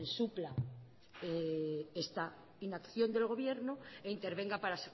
supla esta inacción del gobierno e intervenga para